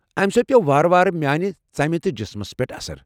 امہ سۭتۍ پیوٚو وارٕ وارٕ میانہِ ژمہِ تہٕ جسمس پیٹھ اثر۔